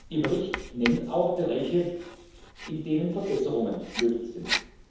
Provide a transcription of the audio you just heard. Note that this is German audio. Ihr Bericht nennt auch Bereiche, in denen Verbesserungen möglich sind.